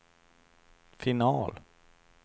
final